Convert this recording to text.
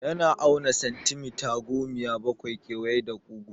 Yana auna santimita gomiya bakwai kewaye da kugu.